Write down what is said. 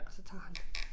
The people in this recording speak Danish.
Så tager han dem